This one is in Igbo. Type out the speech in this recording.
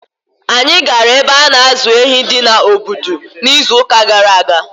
Anyị gara ebe a na-azụ ehi di na Obudu n’izuụka gara aga.